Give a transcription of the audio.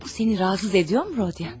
Bu səni narahat edirmi, Rodya?